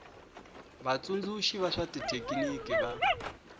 vatsundzuxi va swa xithekiniki va